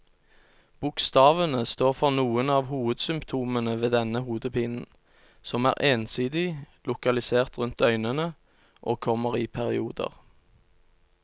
Bokstavene står for noen av hovedsymptomene ved denne hodepinen, som er ensidig, lokalisert rundt øynene og kommer i perioder.